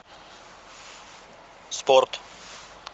спорт